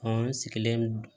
Ɔ n sigilen do